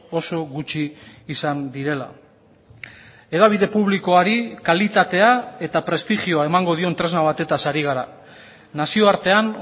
oso gutxi izan direla hedabide publikoari kalitatea eta prestigioa emango dion tresna batez ari gara nazioartean